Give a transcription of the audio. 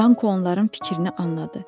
Danqo onların fikrini anladı.